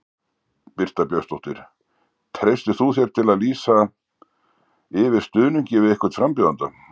Birta Björnsdóttir: Treystir þú þér til að lýsa yfir stuðningi við einhvern frambjóðanda?